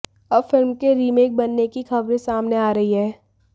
अब फिल्म के रीमेक बनने की ख़बरें सामने आ रही हैं